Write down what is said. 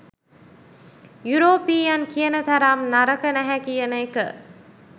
European කියන තරම් නරක නැහැ කියන එක